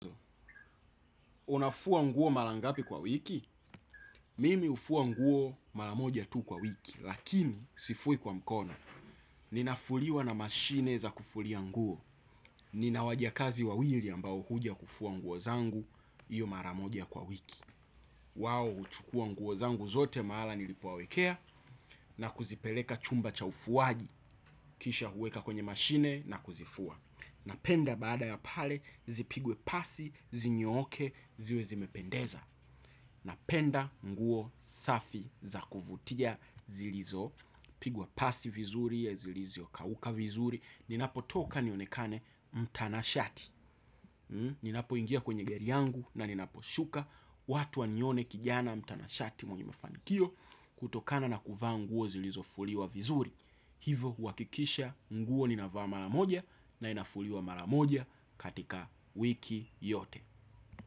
Unafua nguo mara ngapi kwa wiki? Mimi hufua nguo mara moja tu kwa wiki, lakini sifui kwa mkono. Ninafuliwa na mashini za kufulia nguo. Nina wajakazi wawili ambao huja kufua nguo zangu, hiyo mara moja kwa wiki. Wao huchukua nguo zangu zote mahali nilipowawekea na kuzipeleka chumba cha ufuaji, kisha kuweka kwenye mashini na kuzifua. Napenda baada ya pale zipigwe pasi, zinyooke, ziwe zimependeza. Napenda nguo safi za kuvutia zilizo pigwa pasi vizuri zilizo kauka vizuri. Ninapo toka nionekane mtanashati. Ninapo ingia kwenye gari yangu na ninapo shuka watu wanione kijana mtanashati mwenye mafanikio. Kutokana na kuvaa nguo zilizofuliwa vizuri. Hivo kuhakikisha nguo ninavaa mara moja na inafuliwa mara moja katika wiki yote.